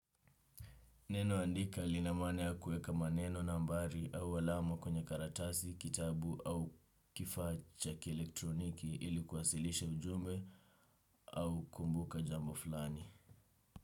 Neno andika lina maana ya kueka maneno nambari au alama kwenye karatasi, kitabu au kifaa cha kielektroniki ilikuwasilishw ujumbe au kumbuka jambo flani.